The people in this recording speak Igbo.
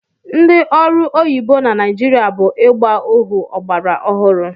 Ndị ọrụ oyibo na Naịjirịa bụ ịgba ohu ọgbara ọhụrụ.